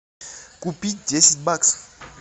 купить десять баксов